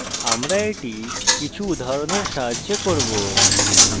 এটি কিছু উদাহরণের সাহায্যে করব